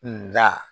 Nga